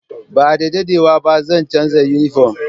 Ba da daɗewa ba, zan canza yunifom.